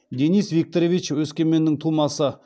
денис викторович өскеменнің тумасы